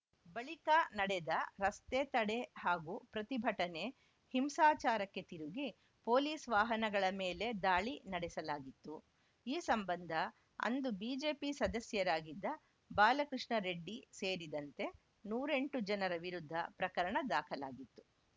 ಬಳಿಕ ನಡೆದ ರಸ್ತೆ ತಡೆ ಹಾಗೂ ಪ್ರತಿಭಟನೆ ಹಿಂಸಾಚಾರಕ್ಕೆ ತಿರುಗಿ ಪೊಲೀಸ್‌ ವಾಹನಗಳ ಮೇಲೆ ದಾಳಿ ನಡೆಸಲಾಗಿತ್ತು ಈ ಸಂಬಂಧ ಅಂದು ಬಿಜೆಪಿ ಸದಸ್ಯರಾಗಿದ್ದ ಬಾಲಕೃಷ್ಣ ರೆಡ್ಡಿ ಸೇರಿದಂತೆ ನೂರೆಂಟು ಜನರ ವಿರುದ್ಧ ಪ್ರಕರಣ ದಾಖಲಾಗಿತ್ತು